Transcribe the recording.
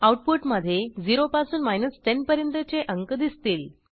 output मधे 0 पासून 10 पर्यंतचे अंक दिसतील